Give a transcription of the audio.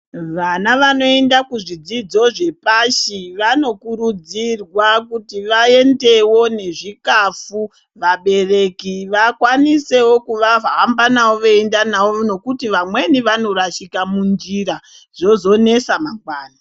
Vana vanoenda kuzvidzidzo zvepashi vanokurudzirwa kuti vaendewo nezvikafu vabereki vakwanisewo kuvahamba navo veienda navo nokuti vamweni vanorashika munjira zvozonesa mangwani.